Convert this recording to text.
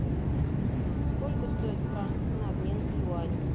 сколько стоит франк на обмен к юаню